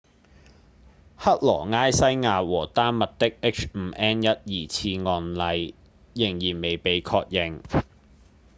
克羅埃西亞和丹麥的 h5n1 疑似案例依然未被確認